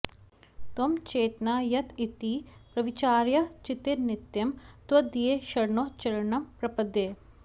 त्वं चेतना यत इति प्रविचार्य चित्ते नित्यं त्वदीय चरणौ शरणं प्रपद्ये